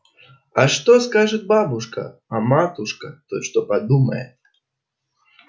а что скажет бабушка а матушка-то что подумает